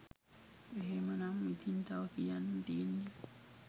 එහෙමනම් ඉතිං තව කියන්න තියෙන්නේ